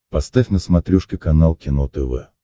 поставь на смотрешке канал кино тв